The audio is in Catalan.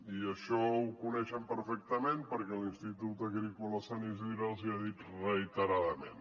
i això ho coneixen perfectament perquè l’institut agrícola de sant isidre els ho ha dit reiteradament